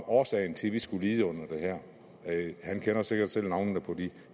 årsagen til at vi skulle lide under det her han kender sikkert selv navnene på de